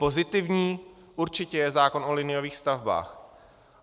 Pozitivní určitě je zákon o liniových stavbách.